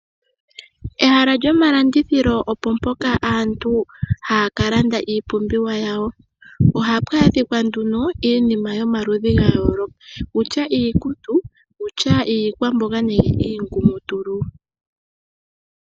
Ehala lyomalandithilo opo mpoka aantu haya ka landa iipumbiwa yawo. Ohapu adhika nduno iinima yomaludhi ga yooloka kutya iikutu, kutya iikwamboga nenge iingumutulu.